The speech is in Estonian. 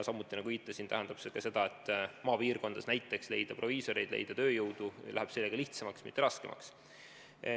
Samuti, nagu ma viitasin, tähendab see ka seda, et maapiirkondades läheb lihtsamaks näiteks leida proviisoreid, leida tööjõudu.